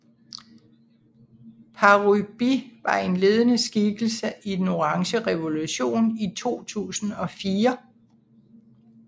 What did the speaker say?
Parubíj var en ledende skikkelse i Den orange revolution i 2004